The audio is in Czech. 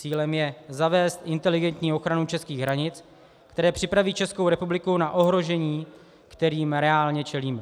Cílem je zavést inteligentní ochranu českých hranic, které připraví Českou republiku na ohrožení, kterým reálně čelíme.